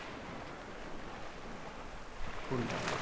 কোনটা?